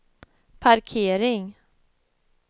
parkering